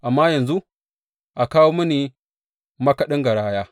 Amma yanzu, a kawo mini makaɗin garaya.